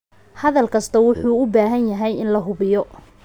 Hadal kasta wuxuu u baahan yahay in la hubiyo.